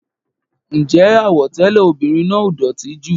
Ǹjẹ́ àwọ̀ tẹlẹ ọmọbìnrin náà ò dótì jù?